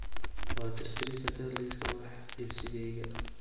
Waad tirtiri kartaa liiska wax iibsigayga